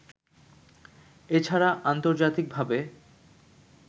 এ ছাড়া আন্তর্জাতিকভাবে